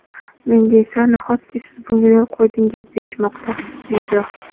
menga esa "nahotki siz bunga yo‘l qo‘ydingiz" deyishmoqda.